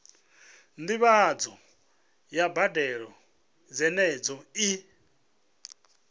ndivhadzo ya mbadelo dzenedzo i